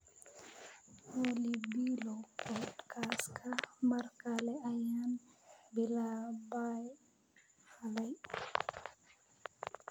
olly bilow podcast-ka mar kale ayaan bilaabay xalay